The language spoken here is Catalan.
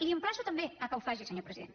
l’emplaço també que ho faci senyor president